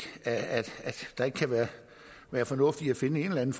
at der ikke kan være fornuft i at finde en